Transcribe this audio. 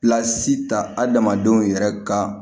Pilasi ta adamadenw yɛrɛ ka